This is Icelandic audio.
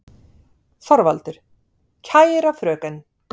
ÞORVALDUR: Kæra fröken!